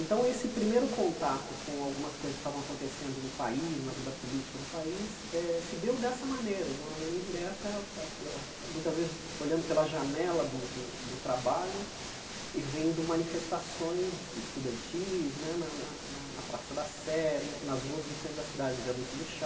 Então, esse primeiro contato com algumas coisas que estavam acontecendo no país, na vida política do país, eh se deu dessa maneira, de uma maneira indireta, ah eh ah muitas vezes olhando pela janela do do do trabalho e vendo manifestações estudantis né na na na Praça da Sé, na nas ruas do centro da cidade, no Viaduto do Chá.